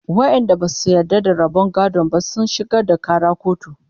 waƴanda Basu yarda da rabon gadon ba sun shigar da Ƙara kotu